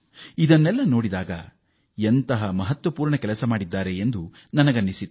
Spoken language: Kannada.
ಆ ಕ್ಷೇತ್ರದಲ್ಲಿ ಗಣನೀಯ ಪ್ರಮಾಣದಲ್ಲಿ ಕಾರ್ಯ ಆಗಿರುವುದನ್ನು ನಾನು ನೋಡಿದೆ